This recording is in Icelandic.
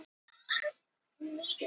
Þetta þarf að vera ljóst.